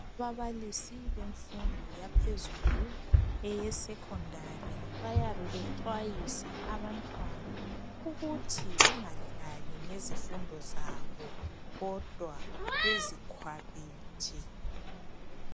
Ababalisi bemfundo yaphezulu eyesecondary bayabe bexwayisa abantwana ukuthi bengadlali ngezifundo zabo kodwa bezikhwabithe.